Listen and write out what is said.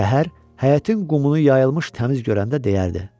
Səhər həyətin qumunu yayılmış təmiz görəndə deyərdi: